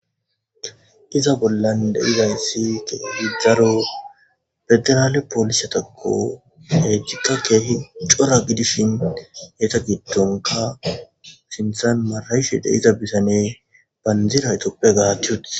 Iza bollan de'izaysi kehi daro internal polisetako intika kehi cora gidishin eta gidonka sinthan matanishe de'iza butane bandira etophiaya gati wothi